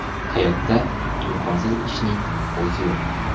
Hayotda imkonsiz ishning o‘zi yo‘q.